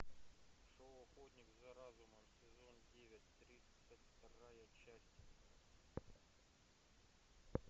шоу охотник за разумом сезон девять тридцать вторая часть